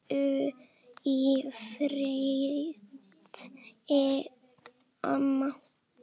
Hvíldu í friði, amma.